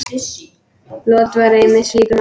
Lot var einmitt slíkur maður.